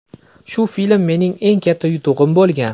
Shu film mening eng katta yutug‘im bo‘lgan.